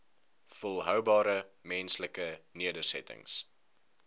volhoubare menslike nedersettings